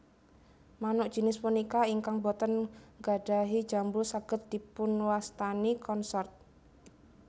Manuk jinis punika ingkang boten nggadhahi jambul saged dipunwastani Consort